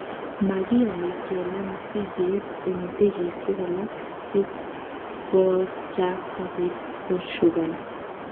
Magiyani kelaa misiget eng ndegeishek alak si kochaakta biik koshugani